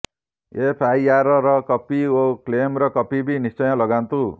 ଏଫଆଇଆରର copy ଓ କ୍ଲେମର copy ବି ନିଶ୍ଚୟ ଲଗାନ୍ତୁ